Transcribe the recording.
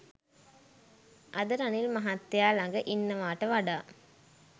අද රනිල් මහත්තයා ළග ඉන්නවාට වඩා